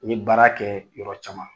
N ye baara kɛɛ yɔrɔ caman.